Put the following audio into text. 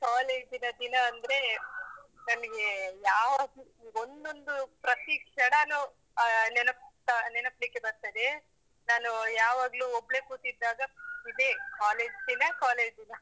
college ನ ದಿನ ಅಂದ್ರೆ ನನಗೆ ಯಾವಾಗ್ಲೂ ಒಂದೊಂದು ಪ್ರತೀ ಕ್ಷಣನು ಅಹ್ ನೆನಪು ನೆನಪಿಗೆ ಬರ್ತದೆ. ನಾನು ಯಾವಾಗ್ಲೂ ಒಬ್ಳೆ ಕೂತಿದ್ದಾಗ ಇದೇ college ದಿನ college ದಿನ.